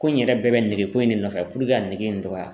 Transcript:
Ko in yɛrɛ bɛɛ bɛ nege ko in de nɔfɛ ka ne nege in dɔgɔya.